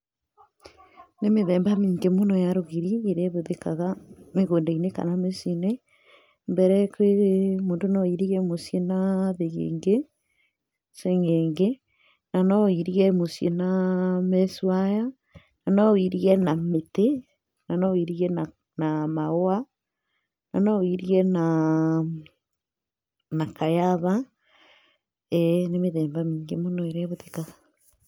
Nĩ mĩthemba mĩingĩ mũno ya rũgiri ĩrĩa ĩhũthĩkaga mĩgũnda-inĩ kana mĩciĩ-inĩ. Mbere mũndũ no airige muciĩ na thĩgĩngĩ, cĩng’ĩngĩ, na no ũirige muciĩ na mesh wire, na no ũirige na mĩtĩ, na no ũirige na mahũa, na no ũirige na kaiyaba. eeh Nĩ mĩthemba mĩingĩ mũno ĩrĩa ĩhũthĩkaga.